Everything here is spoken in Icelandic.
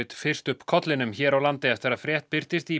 fyrst upp kollinum hér á landi eftir að frétt birtist í